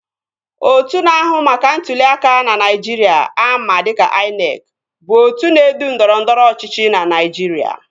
Otu na-ahụ maka ntụli aka ná Naijiria ama dịka INEC bụ otu na-edu ndọrọndọrọ ọchịchị na Naijiria